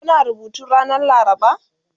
Kuna rubutu ranar laraba?